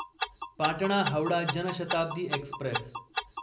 Patna Howrah Janshatabdi Express